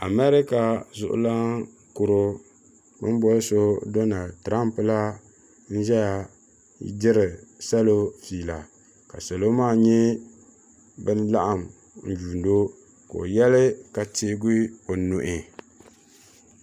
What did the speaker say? America zuɣulana kuro bin bɔli so Donald Trump la n ʒɛya diri salo fiila ka salo maa nyɛ bin laɣim n yuuni o ka o yali ka teegi o nuhi.